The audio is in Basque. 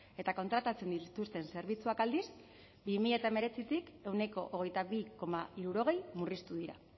eta kontratatzen dituzten zerbitzuak aldiz bi mila hemeretzitik ehuneko hogeita bi koma hirurogei murriztu dira